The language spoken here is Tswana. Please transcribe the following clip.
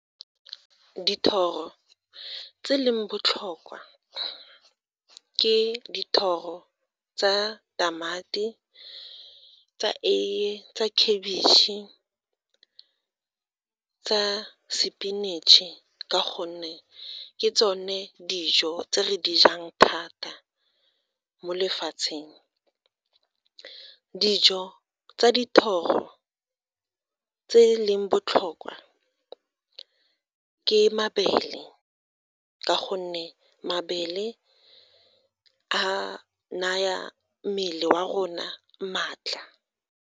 Dithoro tse leng botlhokwa, ke dithoro tsa tamati, tsa eiye, tsa khabitšhe, tsa sepinatšhe ka gonne ke tsone dijo tse re di jang thata mo lefatsheng. Dijo tsa dithoro tse e leng botlhokwa ke mabele ka gonne mabele a naya mmele wa rona maatla.